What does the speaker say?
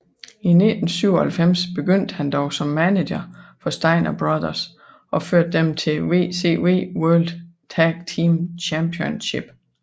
I 1997 begyndte han dog som manager for Steiner Brothers og førte dem til WCW World Tag Team Championship